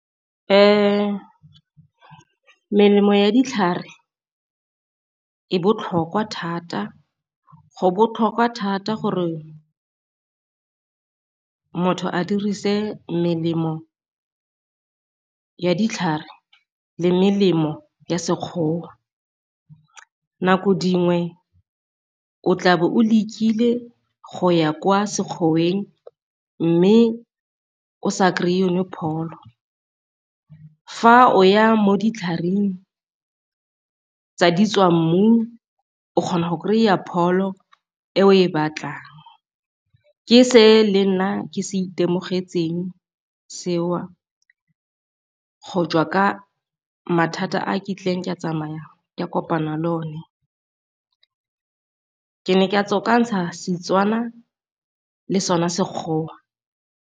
Melemo ya ditlhare e botlhokwa thata go botlhokwa thata, gore motho a dirise melemo ya ditlhare le melemo ya Sekgowa. Nako dingwe o tlabe o lekile go ya kwa Sekgwoeng mme o sa kry-i yone Philo. Fa o ya mo ditlhareng tsa di tswa mmu o kgona go kry-a pholo e o e batlang. Ke se lenna ke se itemogetseng seo go jwa ka mathata a ke a tsamaya ka kopana le one, ke ne ka tswakantsha Setswana le sona Sekgowa.